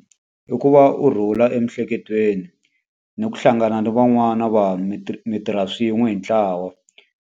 I ku va u rhula emiehleketweni, ni ku hlangana ni van'wana vanhu mi mi tirha swin'we hi ntlawa.